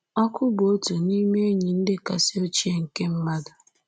Ọkụ bụ otu n’ime enyi ndị kasị ochie nke mmadụ